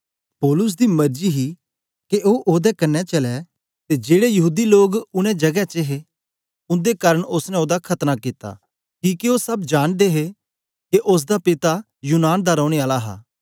पौलुस दी मरजी ही के ओ ओदे कन्ने चलै ते जेड़े यहूदी लोग उनै जगें च हे उन्दे कारन ओसने ओसदा खतना कित्ता किके ओ सब जांनदे हे के ओसदा पिता यूनान दा रौने आला हा